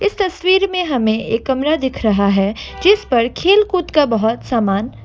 इस तस्वीर में हमें एक कमरा दिख रहा है जिस पर खेलकूद का बहोत सामान--